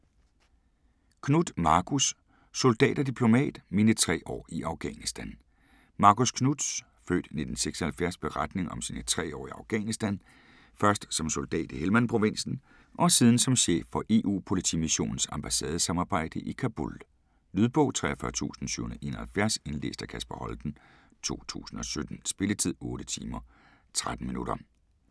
Knuth, Marcus: Soldat og diplomat: mine tre år i Afghanistan Marcus Knuths (f. 1976) beretning om sine tre år i Afghanistan, først som soldat i Helmand-provinsen og siden som chef for EU-Politimissionens ambassadesamarbejde i Kabul. Lydbog 43771 Indlæst af Kasper Holten, 2017. Spilletid: 8 timer, 13 minutter.